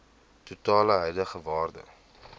totale huidige waarde